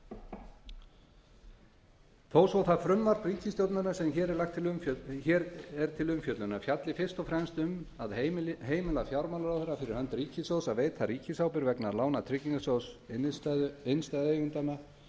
reifuð þó svo að það frumvarp ríkisstjórnarinnar sem hér er til umfjöllunar fjalli fyrst og fremst um að heimila fjármálaráðherra fyrir hönd ríkissjóðs að veita ríkisábyrgð vegna lána tryggingarsjóðs innstæðueigenda og fjárfesta frá breska og hollenska ríkinu